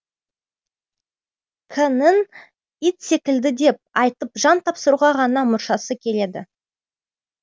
к ның ит секілді деп айтып жан тапсыруға ғана мұршасы келеді